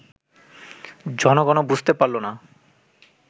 জনগণও বুঝতে পারল না